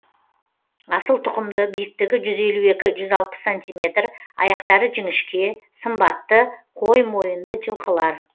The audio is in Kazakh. асыл тұқымды биіктігі жүз елу екі жүз алпыс сантиметр аяқтары жіңішке сымбатты қой мойынды жылқылар